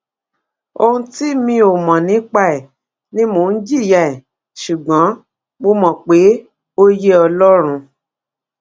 ohun tí mi ò mọ nípa ẹ ni mò ń jìyà ẹ ṣùgbọn mo mọ pé ó yé ọlọrun